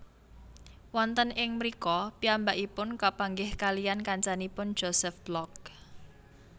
Wonten ing mrika piyambakipun kapanggih kaliyan kancanipun Josef Block